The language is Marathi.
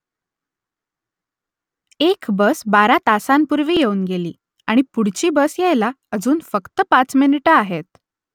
एक बस बारा तासांपूर्वी येऊन गेली आणि पुढची बस यायला अजून फक्त पाच मिनिटं आहेत